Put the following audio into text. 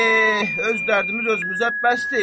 Eh, öz dərdimiz özümüzə bəs deyil?